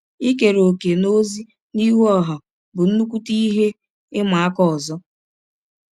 Ikere ọ̀kè n’ọzi ihụ ọha bụ nnụkwụte ihe ịma aka ọzọ.